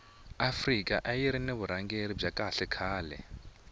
afika ayiri ni vurhangeri bya kahle khale